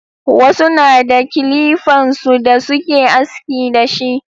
Wasu na da kilifan su da suke aski da shi.